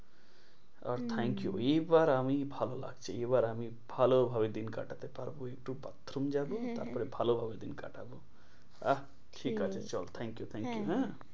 R thank you hmm এবার আমি ভালো লাগছে এবার আমি ভালোভাবে দিন কাটাতে পারবো একটু bathroom যাবো হ্যাঁ হ্যাঁ তারপরে ভালোভাবে দিন কাটাবো আহ ঠিক আছে সেই চল thank you thank you